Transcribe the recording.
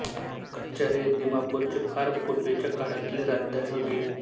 कछरी ही दिमापूरची फार पूर्वीच्या काळातली राजधानी होती